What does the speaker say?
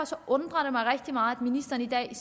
undrer det mig rigtig meget at ministeren i dag